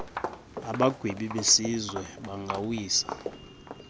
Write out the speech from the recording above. abagwebi besizwe bangawisa